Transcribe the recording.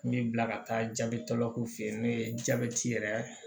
N bɛ bila ka taa jabɛtigɛlako fe yen n'o ye jabɛti yɛrɛ